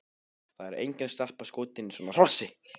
Það er engin stelpa skotin í svona hrossi!